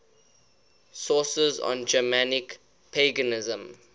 sources on germanic paganism